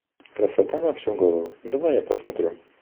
красота на всю голову давай я посмотрю